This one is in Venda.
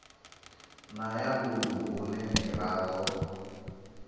na ya ḽounu hune miraḓo